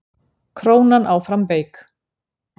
Krónan áfram veik